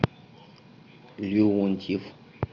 леонтьев